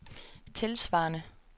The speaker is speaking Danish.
tilsvarende